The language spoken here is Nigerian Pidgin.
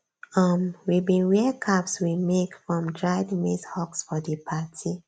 um we bin wear caps we make from dried maize husks for di party